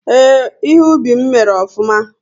Ee, ihe ubi m mèrè ofụma